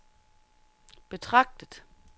betragtet